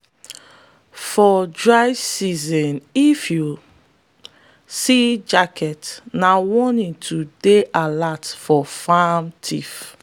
for dry season if you see jacket na warning to dey alert for farm thief.